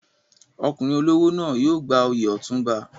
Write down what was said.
Ọkùnrin olówó náà yóò gba oyè Otunba.